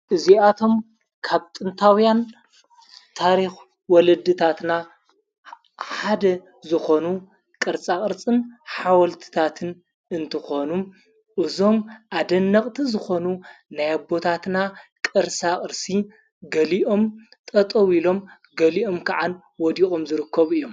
እዚኣቶም ካብ ጥንታውያን ታሪኽ ወለድታትና ሓደ ዝኾኑ ቕርጻ ቕርጽን ሓወልትታትን እንትኾኑ እዞም ኣደነቕቲ ዝኾኑ ናይኣቦታትና ቕርሣ ቕርሲ ገሊኦም ጠጠውዊ ኢሎም ገሊኦም ከዓን ወዲቖም ዝርኮቡ እዮም::